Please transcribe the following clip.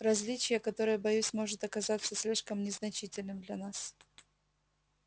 различие которое боюсь может оказаться слишком незначительным для нас